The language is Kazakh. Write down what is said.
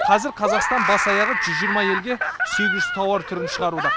қазір қазақстан бас аяғы жүз жиырма елге сегіз жүз тауар түрін шығаруда